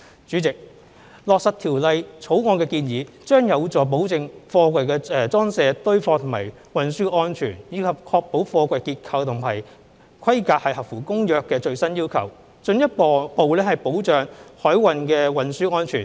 主席，落實《條例草案》的建議，將有助保證貨櫃的裝卸、堆放和運輸安全，以及確保貨櫃結構和規格合乎《公約》的最新要求，進一步保障海運的運輸安全。